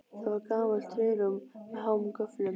Það var gamalt trérúm með háum göflum.